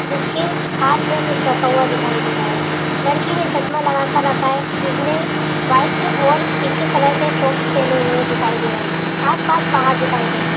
जिसके हाथ मे कुछ रखा हुआ दिखाई दे रहा है लड़की ने चसमा लगा कर रखा है जिसने वाइट ओर पिंक कलर के सॉक्स पेहने हुए दिखाई दे रहे है। आस-पास पहाड़ दिखाई दे रहे है।